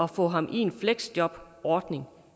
at få ham i en fleksjobordning